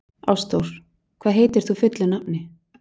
Ástþór, hvað heitir þú fullu nafni?